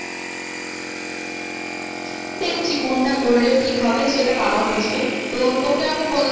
দেখছি কোনটা করলে ঠিক হবে সেটা বাবা বুঝবে তো তোকে আমি